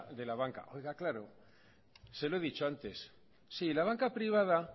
de la banca oiga claro se lo he dicho antes sí la banca privada